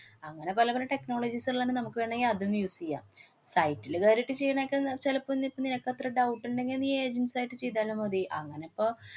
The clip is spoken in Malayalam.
അങ്ങനെ പല പല technologies ളേണ് നമ്മക്ക് വേണെങ്കി അതും use ചെയ്യാം. site ല് കേറിട്ടു ചെയ്യുന്നേക്കാ ന~ ചിലപ്പോ നി~ നിനക്ക് അത്ര doubt ഉണ്ടെങ്കി നീ agents ആയിട്ട്ചെ യ്താലും മതി. അങ്ങനിപ്പോ